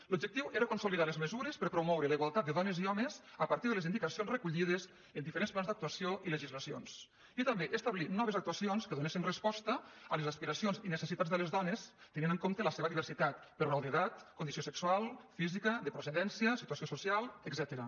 l’objectiu era consolidar les mesures per promoure la igualtat de dones i homes a partir de les indicacions recollides en diferents plans d’actuació i legislacions i també establir noves actuacions que donessin resposta a les aspiracions i necessitats de les dones tenint en compte la seva diversitat per raó d’edat condició se·xual física de procedència situació social etcètera